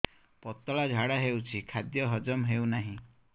ପତଳା ଝାଡା ହେଉଛି ଖାଦ୍ୟ ହଜମ ହେଉନାହିଁ